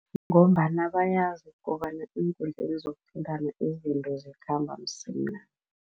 Ngombana bayazi kobana eenkundleni zokuthintana izinto zikhamba msinya.